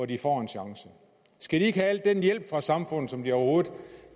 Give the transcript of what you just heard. de får en chance skal de ikke have al den hjælp af samfundet som de overhovedet